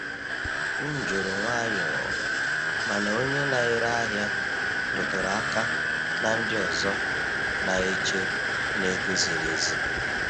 M jụrụ nwayọọ, mana onye na-ere ahịa rụtụrụ aka na ndị ọzọ na-eche na ego ziri ezi.